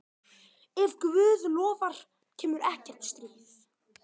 Ef Guð lofar kemur ekkert stríð.